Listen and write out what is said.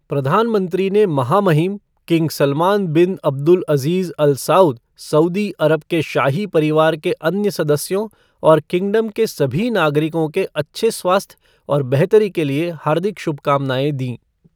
प्रधानमंत्री ने महामहिम king Salman bin Abdulaziz Al Saud, Saudi Arab के शाही परिवार के अन्य सदस्यों और किंगडम के सभी नागरिकों के अच्छे स्वास्थ्य और बेहतरी के लिए हार्दिक शुभकामनाएं दीं।